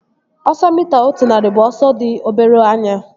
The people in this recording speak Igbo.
Ọsọ mita otu narị bụ ọsọ dị obere anya